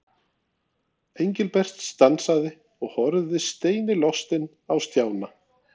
Engilbert stansaði og horfði steinilostinn á Stjána.